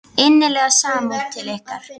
Innileg samúð til ykkar.